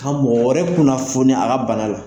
Ka mɔgɔ wɛrɛ kunnafoni a ka bana la.